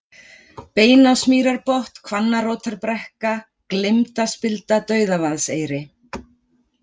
Beinásmýrarbotn, Hvannarótarbrekka, Gleymdaspilda, Dauðavaðseyri